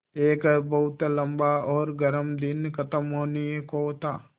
एक बहुत लम्बा और गर्म दिन ख़त्म होने को था